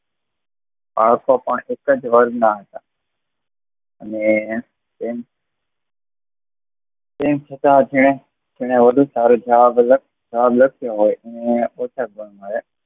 આવતો પણ એક જ વર્ગમાં હતા અને તેમ તેમ છતાં તેને વધુ સારું જવાબ લખ્યો હોય ને ઓછા ગુણ મળે